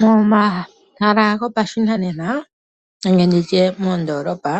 Momahala gopashinanena nenge nditye moondoolopa